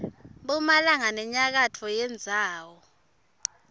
mphumalanga nenyakatfo yendzawo